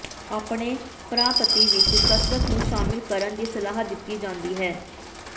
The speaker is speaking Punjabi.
ਆਪਣੇ ਪਰਾਪਤੀ ਵਿਚ ਕਸਰਤ ਨੂੰ ਸ਼ਾਮਲ ਕਰਨ ਦੀ ਸਲਾਹ ਦਿੱਤੀ ਜਾਂਦੀ ਹੈ